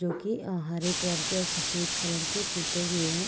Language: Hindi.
जो की अ हरे कलर के और सफ़ेद कलर के पुते हुए है--